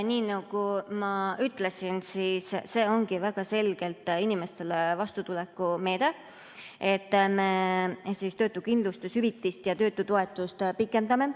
Nii nagu ma ütlesin, see ongi väga selgelt inimestele vastutuleku meede, et me töötuskindlustushüvitist ja töötutoetust pikendame.